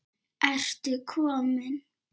Ertu kominn!